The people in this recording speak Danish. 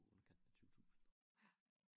Underkanten af 20 tusind